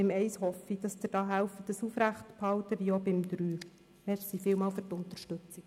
Bei den Ziffern 1 und 3 hoffe ich, dass Sie mithelfen, diese als Motion zu unterstützen.